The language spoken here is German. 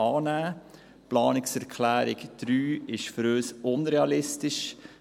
Die Planungserklärung 3 ist für uns unrealistisch.